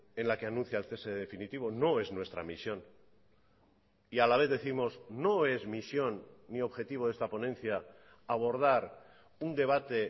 en la que anuncia el cese definitivo no es nuestra misión y a la vez décimos no es misión ni objetivo de esta ponencia abordar un debate